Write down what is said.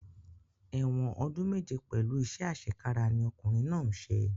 Ẹ̀wọ̀n ọdún méje pẹ̀lú iṣẹ́ àṣekára ni ọkùnrin náà ń ṣe